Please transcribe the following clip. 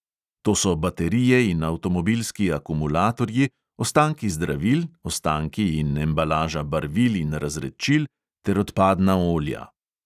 To so baterije in avtomobilski akumulatorji, ostanki zdravil, ostanki in embalaža barvil in razredčil ter odpadna olja.